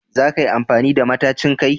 Za ka yi amfani da matacin kai?